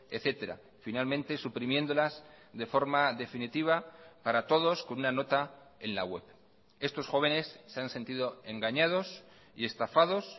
etcétera finalmente suprimiéndolas de forma definitiva para todos con una nota en la web estos jóvenes se han sentido engañados y estafados